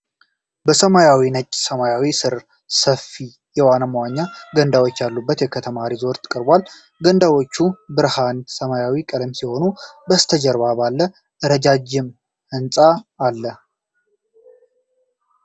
በሰማያዊና ነጭ ሰማይ ሥር ሰፊ የዋና መዋኛ ገንዳዎች ያለበት የከተማ ሪዞርት ቀርቧል። ገንዳዎቹ የብርሃን ሰማያዊ ቀለም ሲሆኑ፣ ከበስተጀርባው ባለ ረጃጅም ህንጻ አለ።